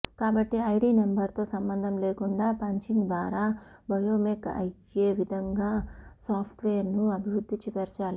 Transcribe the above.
కాబట్టి ఐడి నెంబర్తో సంబంధం లేకుండా పంచింగ్ ద్వారా బయోమెక్ అయ్యే విధంగా సాఫ్ట్వేర్ను అభివృద్ధిపరచాలి